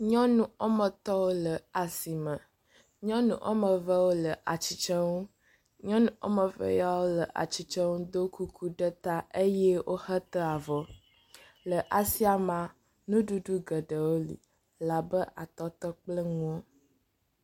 Nyɔnu wɔme etɔ̃ wo le asime. Nyɔnu wɔme eve wo le atsitrenu. Nyɔnu wɔme eve ya wo le atsitrenu do kuku ɖe ta eye woxe ta avɔ. Le asia mea nuɖuɖu geɖewo li lane atɔtɔ kple nuwo.